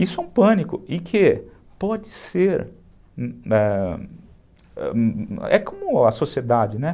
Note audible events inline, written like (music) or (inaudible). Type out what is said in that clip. Isso é um pânico e que pode ser... (unintelligible) É como a sociedade, né?